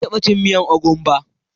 Ban taba cin miyan ogbono ba.